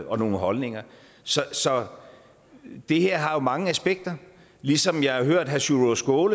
og nogle holdninger så så det her har jo mange aspekter ligesom jeg har hørt herre sjúrður